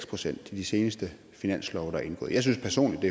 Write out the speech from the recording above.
procent i de seneste finanslove der er indgået jeg synes personlig